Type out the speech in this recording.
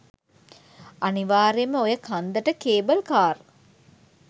අනිවාර්යෙන්ම ඔය කන්දට කේබල් කාර්